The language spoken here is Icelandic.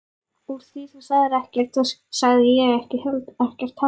Úr því þú sagðir ekkert þá sagði ég ekkert heldur.